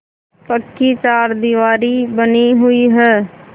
पक्की चारदीवारी बनी हुई है